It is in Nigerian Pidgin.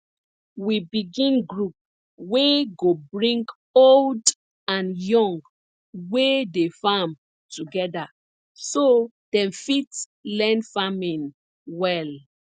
we begin group wey go bring old and young wey dey farm together so dem fit learn farming well